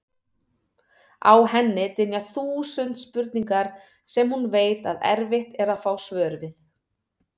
Á henni dynja þúsund spurningar sem hún veit að erfitt er að fá svör við.